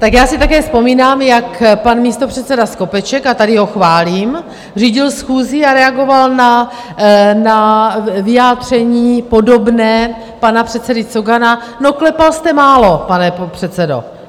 Tak já si také vzpomínám, jak pan místopředseda Skopeček - a tady ho chválím - řídil schůzi a reagoval na vyjádření podobné pana předsedy Cogana: no klepal jste málo, pane předsedo.